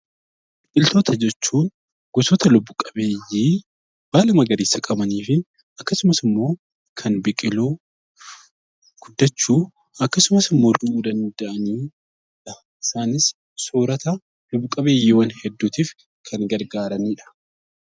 Biqiltoota jechuun gosoota lubbuu qabeeyyii baala magariisa qabanii fi akkasumas immoo kan biqiluu, guddachuu akkasumas xumuruu danda'anidha. Isaanis soorata lubbu qabeeyyiiwwan hedduutiif kan gargaaranidha.